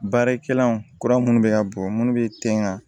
Baarakɛlaw kura minnu bɛ ka bɔ minnu bɛ ten wa